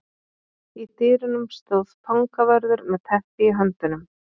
Í dyrunum stóð fangavörður með teppi í höndunum.